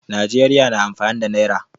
Najeriya na amfani da naira.